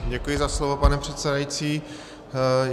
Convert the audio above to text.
Děkuji za slovo, pane předsedající.